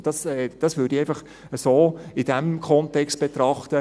Und das würde ich so in diesem Kontext betrachten.